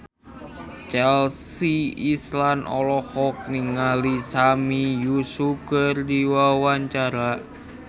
Chelsea Islan olohok ningali Sami Yusuf keur diwawancara